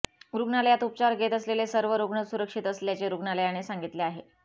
रुग्णालयात उपचार घेत असलेले सर्व रुग्ण सुरक्षित असल्याचे रुग्णालयाने सांगितले आहे